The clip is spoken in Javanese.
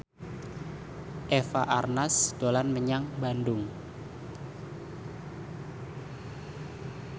Eva Arnaz dolan menyang Bandung